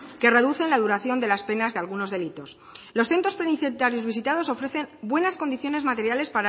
que reducen la duración de las penas de algunos delitos los centros penitenciarios visitados ofrecen buenas condiciones materiales